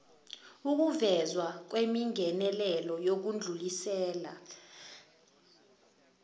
ukuvezwa kwemingenelelo yokudlulisela